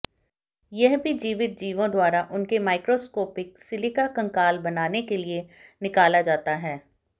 यह भी जीवित जीवों द्वारा उनके माइक्रोस्कोपिक सिलिका कंकाल बनाने के लिए निकाला जाता है